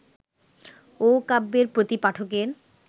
ও কাব্যের প্রতি পাঠকের